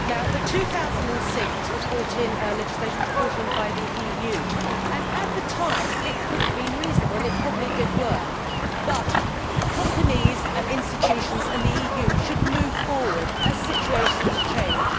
The 2006 legislation was brought in by the EU. At the time it could have been reasonable and it probably did work, but companies and institutions and the EU should move forward as situations change.